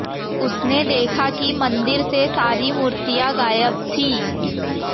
उसने देखा कि मंदिर से सारी मूर्तियां गायब थीं